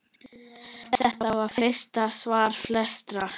Þetta var fyrsta svar flestra?